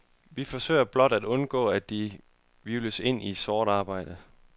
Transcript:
Vi forsøger blot at undgå, at de hvirvles ind i sort arbejde.